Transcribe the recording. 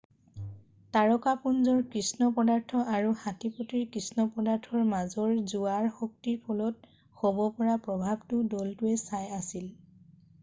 তাৰকাপুঞ্জৰ কৃষ্ণ পদাৰ্থ আৰু হাটীপটীৰ কৃষ্ণ পদাৰ্থৰ মাজৰ জোৱাৰ শক্তিৰ ফলত হ'ব পৰা প্ৰভাৱটো দলটোৱে চাই আছিল